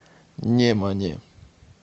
немане